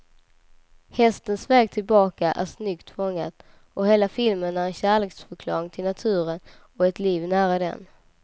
Hästens väg tillbaka är snyggt fångad, och hela filmen är en kärleksförklaring till naturen och ett liv nära den.